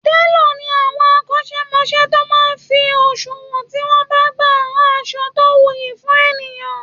Télọ̀ ni àwọn akọ́ṣẹmọṣẹ́ tó máa ń fi òṣùwọn tí wọ́n bá gba rán aṣọ tó wuyì fún ènìyàn